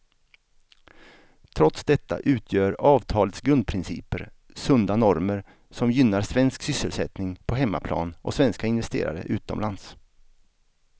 Trots detta utgör avtalets grundprinciper sunda normer som gynnar svensk sysselsättning på hemmaplan och svenska investerare utomlands.